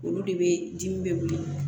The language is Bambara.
Olu de bɛ dimi bɛ